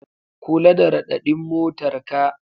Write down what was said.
Kula da raɗaɗin motarka.